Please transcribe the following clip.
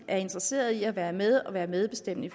er interesseret i at være med og være medbestemmende i